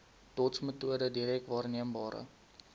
dotsmetode direk waarneembare